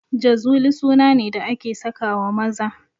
Jazuli suna ne da ake sakawa maza